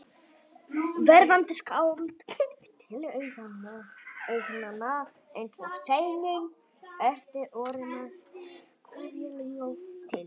Verðandi skáld, til augnanna eins og séníin, orti órímað kveðjuljóð til